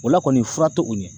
O la kɔni fura to o ɲɛ.